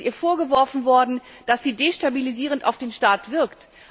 Es ist ihr vorgeworfen worden, dass sie destabilisierend auf den Staat wirkt.